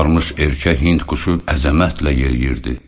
Qabarmış erkək hind quşu əzəmətlə yeriyirdi.